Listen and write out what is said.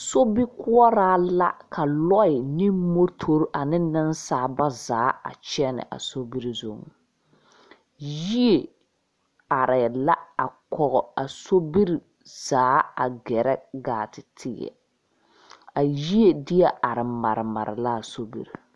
Sobikuoraa la ka lɔɛ ne motori ne ninsaaliba ba zaa a kyene a sobiri zung yie arẽ la a kɔg a sobiri zaa a gerɛ gaa te teɛ a yie dee arẽ mari la a sobiri.